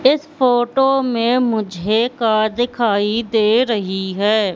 इस फोटो में मुझे कार दिखाई दे रहीं हैं।